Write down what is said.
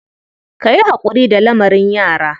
Ka yi haƙuri da lamarin yara.